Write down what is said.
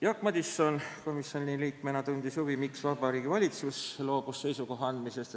Jaak Madison komisjoni liikmena tundis huvi, miks Vabariigi Valitsus loobus seisukoha andmisest.